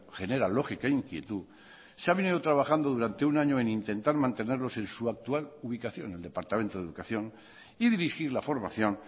genera lógica inquietud se ha venido trabajando durante un año en intentar mantenerlos en su actual ubicación el departamento de educación y dirigir la formación